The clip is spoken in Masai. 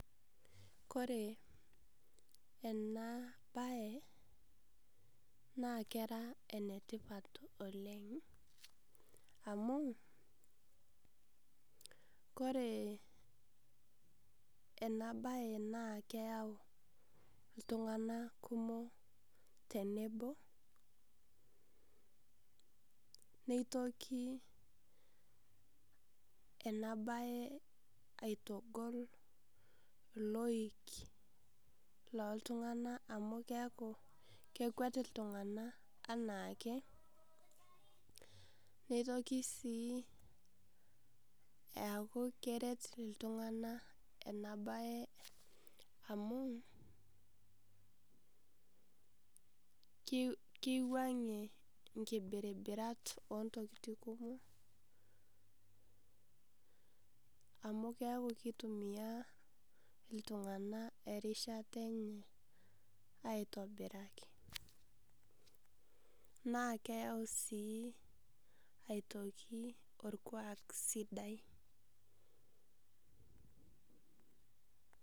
Kore ena baye naa kera netipaat oleng, amu ena baye na keyau ltung'ana kumook tenebo. Neitokii ena baye aitogol loik lo ltung'ana amu keaku kekweet ltung'ana ana akee. Neitokii sii aaku kereet ltung'ana ana baye amu kiwang'ee nkibiribirat o ntokitiin kumook, amu keaku keitumia ltung'ana erishaata enye aitobiraki. Naa keyau sii aitokii olkuak sidai.